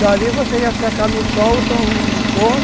Dali você ia secar no sol ou então no forno.